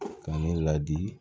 Ka ne ladi